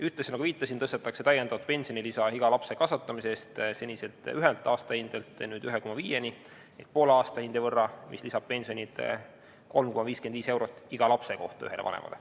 Ühtlasi, nagu viitasin, tõstetakse täiendavat pensionilisa iga lapse kasvatamise eest seniselt ühelt aastahindelt nüüd 1,5-le ehk poole aastahinde võrra, mis lisab pensionit 3,55 eurot iga lapse kohta ühele vanemale.